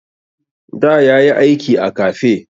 Da ya yi aiki a kafe.